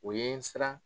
O ye n siran